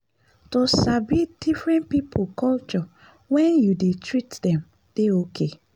to sabi different people culture when you dey treat them dey okay.